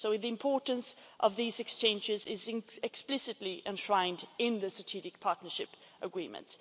So the importance of these exchanges is explicitly enshrined in the Strategic Partnership Agreement.